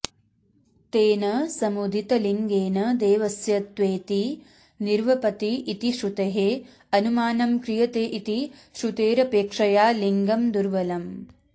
तेन समुदितलिङ्गेन देवस्य त्वेति निर्वपति इति श्रुतेः अनुमानं क्रियते इति श्रुतेरपेक्षया लिंगं दुर्बलम्